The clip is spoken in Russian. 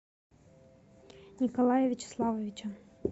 николая вячеславовича